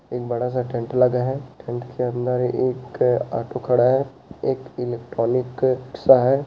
एक बड़ा सा टेंट लगा है टेंट के अंदर एक ऑटो खड़ा है एक इलेक्ट्रॉनिक सा है।